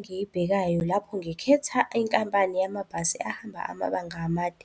Engiyibhekayo lapho ngikhetha inkampani yamabhasi ahamba amabanga amade